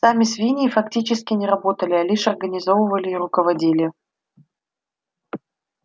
сами свиньи фактически не работали а лишь организовывали и руководили